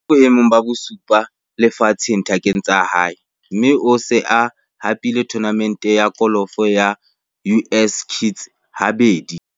O boemong ba bosupa lefatsheng dithakeng tsa hae, mme o se a hapile thonamente ya kolofo ya US Kids habedi.